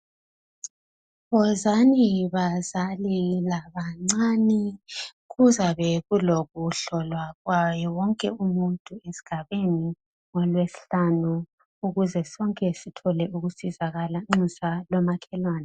Wozani bazali labancane kuzabe kulokuhlolwa kwawonke umuntu esigabeni, ngolwesihlanu ukuze sonke sithole ukusizakala nxusa lo makhelwane.